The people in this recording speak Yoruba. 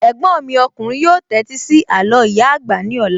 Ẹ̀gbọ́n mi ọkùnrin yóò tẹ́tí sí àló ìyá àgbà ní ọ̀la